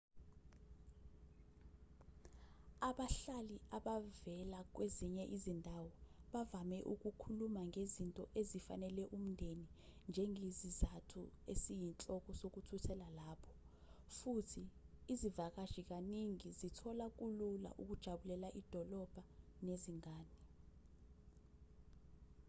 abahlali abavela kwezinye izindawo bavame ukukhuluma ngezinto ezifanele umndeni njengesizathu esiyinhloko sokuthuthela lapho futhi izivakashi kaningi zithola kulula ukujabulela idolobha nezingane